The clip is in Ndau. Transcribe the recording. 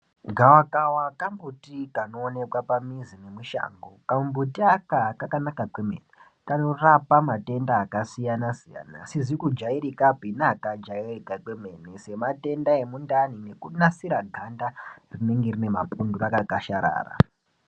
Gavakava kambuti kanooneke pamizi nemushango, kambuti aka kakanaka kwemene kanorapa matenda akasiyana-siyana, asizi kujairikapi neakajairika kwemene sematenda emundani nekunasira ganda rinenge rine mapundu rakakwasharara.